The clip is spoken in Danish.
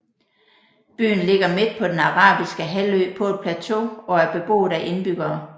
Byen ligger midt på den Den Arabiske Halvø på et plateau og er beboet af indbyggere